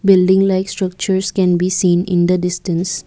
building likes structures can be seen in the distance.